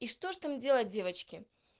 и что ж там делать девочки